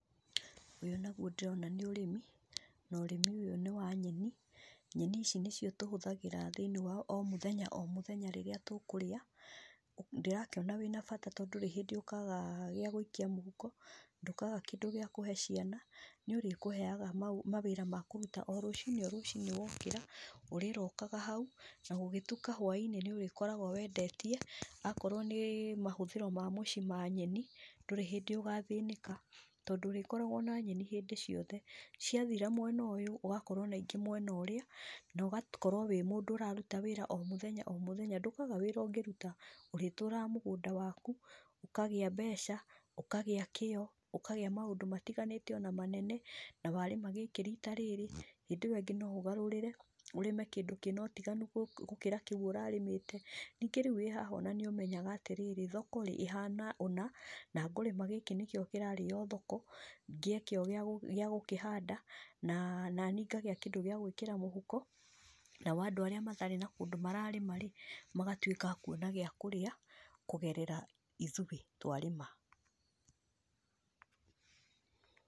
Ũyũ naguo ndĩrona nĩ ũrĩmi, norĩmi ũyũ nĩ wa nyeni, nyeni ici nĩcio tũhũthagĩra thĩ-inĩ wa o mũthenya o mũthenya rĩrĩa tũkũrĩa, ndĩrakĩona wĩna bata to ndúrĩ hĩndĩ ũkaga gĩa gũikia mũhuko, ndũkaga kĩndũ gĩa kũhe ciana, nĩũrĩkũheaga ma mawĩra ma kũruta o rũci-inĩ o rũci-inĩ wokĩra, ũrĩrokaga hau, na gũgĩtuka hwainĩ nĩũrĩkoragwo wendetie, akorwo nĩ mahũthĩro ma mũciĩ ma nyeni, ndũrĩ hĩndĩ ũgathĩnĩka, tondũ ũrĩkoragwo na nyeni ciothe, ciathira mwena ũyũ, ũgakorwo na ingĩ mwena ũrĩa, nogakorwo wĩ mũndũ ũraruta wĩra o mũthenya o mũthenya ndũkaga wĩra ũngĩruta, ũrĩtũraga mũgũnda waku, ũkagĩa mbeca, na ũkagĩa kĩo, ũkagĩa maũndũ matiganĩte ona manene, na warĩma gĩkĩ rita rĩrĩ, hĩndĩ ĩwe ĩngĩ noũgarũrĩre, ũrĩme kĩndũ kĩna ũtigani gũ na kĩu ũrarĩmĩte, ningĩ rĩu ona wĩ haha nĩũrĩmenyaga atĩrĩrĩ, thoko ĩhana ũna, na ngũrĩma gĩkĩ nĩkĩo kĩrarĩo thoko, ngĩe kĩo gía gĩagũkĩhanda na, nanii ngagĩa kĩndũ gĩa gwĩkĩra mũhuko, nao andũ arĩa matarĩ na kũndú mararĩma rĩ, magatwĩka a kuona gĩa kũrĩa. kũgerera ithuĩ twarĩma.